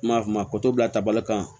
Ma mako bila tabali kan